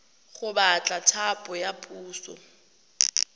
go batla thapo ya puso